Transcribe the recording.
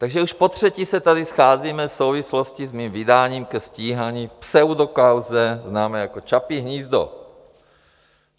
Takže už potřetí se tady scházíme v souvislosti s mým vydáním ke stíhání v pseudokauze známé jako Čapí hnízdo.